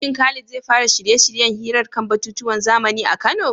Shin Khalid zai fara shirye-shiryen hirar kan batutuwan zamani a Kano?